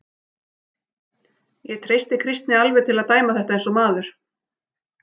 Ég treysti Kristni alveg til að dæma þetta eins og maður.